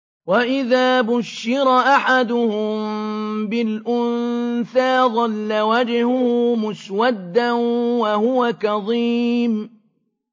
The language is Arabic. وَإِذَا بُشِّرَ أَحَدُهُم بِالْأُنثَىٰ ظَلَّ وَجْهُهُ مُسْوَدًّا وَهُوَ كَظِيمٌ